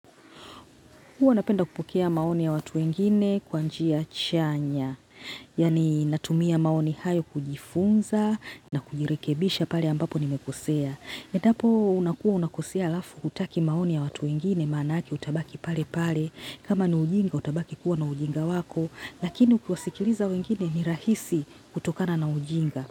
Huwa napenda kupokea maoni ya watu wengine kwa njia chanya. Yaani natumia maoni hayo kujifunza na kujirekebisha pale ambapo nimekosea. Endapo unakuwa unakosea halafu hutaki maoni ya watu wengine maanake utabaki pale pale. Kama ni ujinga utabaki kuwa na ujinga wako. Lakini ukiwasikiliza wengine ni rahisi kutokana na ujinga.